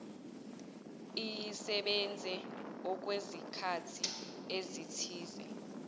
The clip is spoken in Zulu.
iyisebenze okwesikhathi esithize